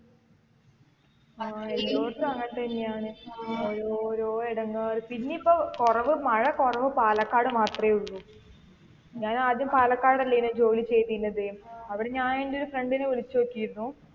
അഹ്, എല്ലാടത്തും അങ്ങനെത്തന്നെയാണ്. ഓരോരോ ഇടങ്ങളില് പിന്നെ ഇപ്പൊ കുറവ് മഴ കുറവ് പാലക്കാട് മാത്രേയുള്ളു. ഞാൻ ആദ്യം പാലക്കാടല്ലേ ജോലി ചെയ്തിരുന്നത്. അവിടെ ഞാൻ എന്റെ ഒരു friend നെ വിളിച്ചു ചോയ്ക്കിരുന്നു.